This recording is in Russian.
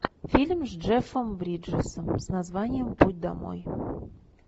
фильм с джеффом бриджесом с названием путь домой